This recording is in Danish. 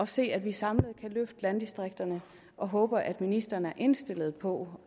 se at vi samlet kan løfte landdistrikterne og håber at ministeren er indstillet på